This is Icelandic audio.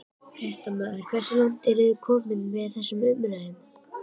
Fréttamaður: Hversu langt eru þið komin í þessum umræðum?